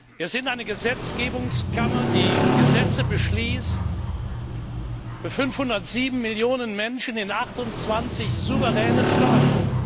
Wir sind eine Gesetzgebungskammer, die Gesetze beschließt für 507 Millionen Menschen in 28 verschiedenen Staaten.